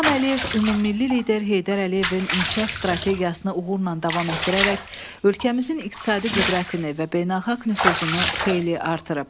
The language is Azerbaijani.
İlham Əliyev ümummilli lider Heydər Əliyevin inkişaf strategiyasını uğurla davam etdirərək ölkəmizin iqtisadi qüdrətini və beynəlxalq nüfuzunu xeyli artırıb.